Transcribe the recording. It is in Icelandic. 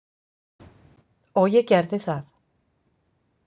Og ég gerði það.